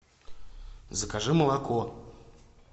закажи молоко